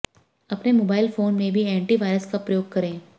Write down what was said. अपने mobile phone में भी एंटी वायरस का प्रयोग करें